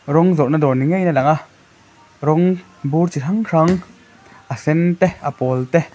rawng zawrhna dawr ni ngeiin alang a rawn bur chi hrang hrang a sen te a pawl te.